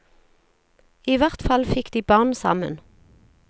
I hvert fall fikk de barn sammen.